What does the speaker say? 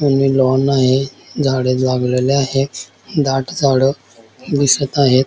Lawn आहे झाड लागलेली आहे दाट झाड दिसत आहेत.